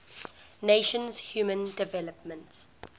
nations human development